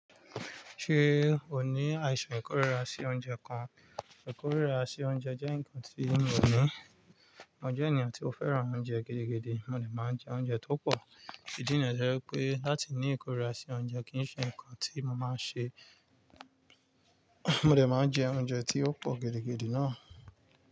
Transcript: Ṣé o ní àìsàn ìkórìíra sí oúnjẹ kan? Ìkórìíra sí oúnjẹ jẹ́ ǹkan tí mi ò ní. Mo jẹ́ ènìyàn tí ó fẹ́ràn oúnjẹ gidi gidi, mo lè máa jẹ oúnjẹ tó pọ̀. Ìdí níyen to jẹ́ pé láti ní ìkórìíra sí oúnjẹ kì í ṣe ǹkan tí mo máa ń ṣe. Mo dè máa jẹ oúnjẹ tí ó pọ̀ gidigidi náà.